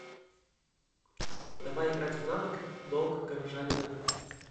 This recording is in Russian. давай играть в навык долг горожанина